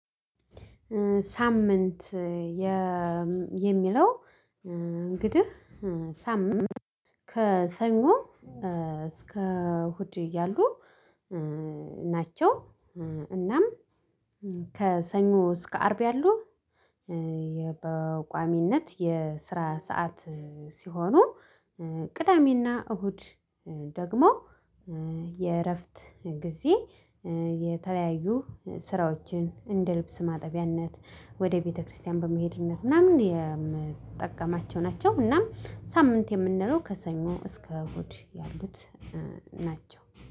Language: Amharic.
ሳምንት የሚለው እንግዲህ ሳምንት ከሰኞ እስከ እሁድ ያሉ ናቸው። እናም ከሰኞ እስከ አርብ ያሉ በቋሚነት የስራ ሰዓት ሲሆኑ። ቅዳሜና እሁድ ደግሞ የእረፍት ጊዜ የተለያዩ ስራዎችን እንደ ልብስ ማጠቢያነት ወደ ቤተክርስቲያን በመሄድ ምናምን የምጠቀማቸው ናቸው። እናም ሳምንት የምንለው ከሰኞ እስከ እሁድ ያሉት ናቸው